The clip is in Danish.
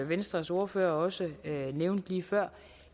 venstres ordfører også nævnte lige før